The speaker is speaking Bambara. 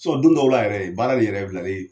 don dɔw b'a yɛrɛ ye, baara nin yɛrɛ bilali